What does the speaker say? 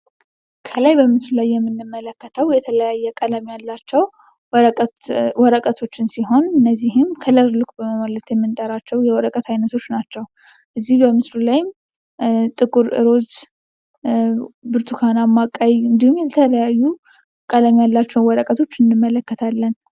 ከላይ በምስሉ ላይ የምንመለከተው የተለያዩ ቀለም ያላቸው ወረቀቶችን ሲሆን እነዚህም ከለር ሉክ በማለት የምንጠራቸው የወረቀት አይነቶች ናቸው። እዚህ በምስሉ ላይም ጥቁር ፣እሮዝ ፣ብርቱካናማ፣ ቀይ እንዲሁም የተለያዩ ቀለም ያላቸው ወረቀቶችን እንመለከታለን።